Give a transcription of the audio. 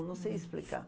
Eu não sei explicar.